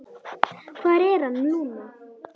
Hvar er hann, Lúna?